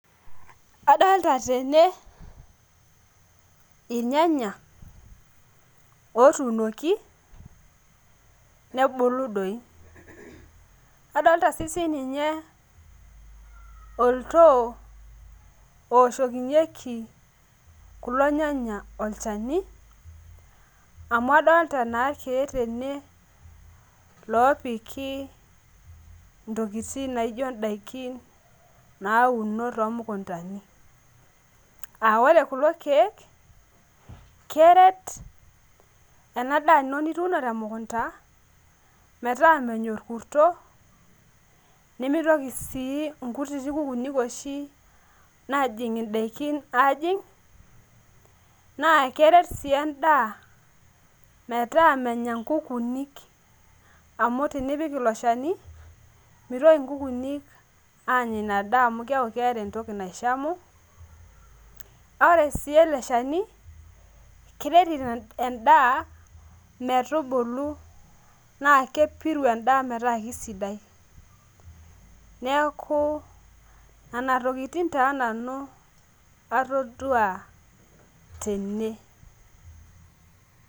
Adalta tene irnyanya otuunoki, nebulu doi. Adolta si sininye oltoo ooshokinyeki kulo nyanya olchani, amu adolta naa keek tene lopiki ntokiting naijo daiki nauno tomukuntani. Ah ore kulo keek, keret enadaa ino nituuno temukunta, metaa menya orkusto, nimitoki si inkutiti kukuuni oshi najing' idaikin ajing', naa keret si endaa metaa Kenya inkukuuni. Amu tenipik ilo shani, mitoki inkukuuni anya inadaa amu keku keeta entoki naishamu. Ore si ele shani, keret endaa metubulu naa kepiru endaa metaa kisidai. Neeku, nana tokiting taa nanu atodua tene.